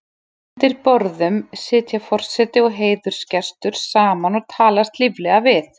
Undir borðum sitja forseti og heiðursgestur saman og talast líflega við.